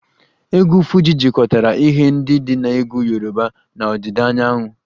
Egwu Fuji jikọtara ihe ndị dị na egwu Yoruba na ọdịda anyanwụ